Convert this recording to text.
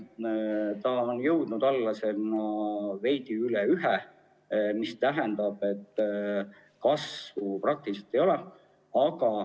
Nüüdseks on see kahanenud, olles veidi üle ühe, mis tähendab, et kasvu praktiliselt ei ole.